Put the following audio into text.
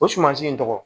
O sumansi in tɔgɔ